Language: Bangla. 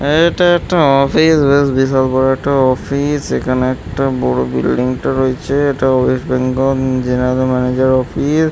আ এইটা একটা অফিস বেশ বিশাল বড়ো একটা অফিস এখানে একটা বড়ো একটা বিল্ডিং টা রয়েছে- এ। এটা West Bengal general manager office --